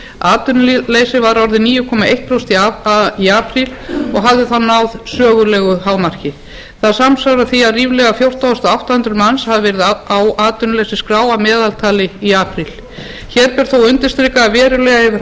atvinnuleysis var orðið níu komma eitt prósent í apríl og hafði þá náð sögulegu hámarki það samsvarar því að ríflega fjórtán þúsund átta hundruð manns hafa verið á atvinnuleysisskrá að meðaltali í apríl hér ber þó að undirstrika að verulega hefur